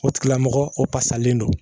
O tigila mɔgɔ o fasalen don